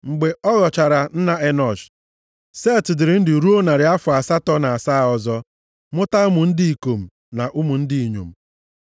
Mgbe ọ ghọchara nna Enọsh, Set dịrị ndụ ruo narị afọ asatọ na asaa ọzọ, mụta ụmụ ndị ikom na ụmụ ndị inyom.